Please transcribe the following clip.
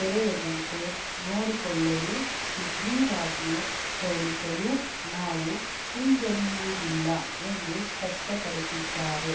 ತೆರೆಯದಂತೆ ನೋಡಿಕೊಳ್ಳಲು ಸುಗ್ರೀವಾಜ್ಞೆ ಹೊರಡಿಸಲೂ ನಾವು ಹಿಂಜರಿಯುವುದಿಲ್ಲ ಎಂದು ಸ್ಪಷ್ಟಪಡಿಸಿದ್ದಾರೆ